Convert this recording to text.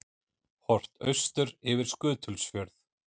Horft austur yfir Skutulsfjörð.